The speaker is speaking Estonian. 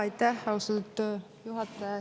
Aitäh!